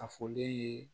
A fɔlen ye